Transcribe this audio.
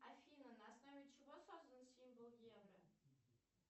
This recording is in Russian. афина на основе чего создан символ евро